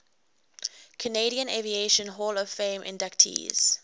canadian aviation hall of fame inductees